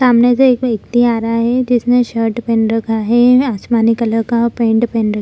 सामने से एक व्यक्ति आ रहा है जिसने शर्ट पहन रखा है आसमानी कलर का और पेंट पहन र --